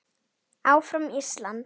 Áfram Ísland.